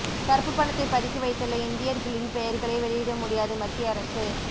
கருப்பு பணத்தை பதுக்கி வைத்துள்ள இந்தியர்களின் பெயர்களை வெளியிட முடியாது மத்திய அரசு